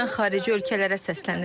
Mən xarici ölkələrə səslənirəm.